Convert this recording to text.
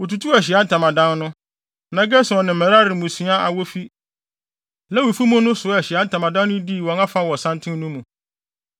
Wotutuu Ahyiae Ntamadan no, na Gerson ne Merari mmusua a wofi Lewifo mu no soaa Ahyiae Ntamadan no dii wɔn afa wɔ santen no mu.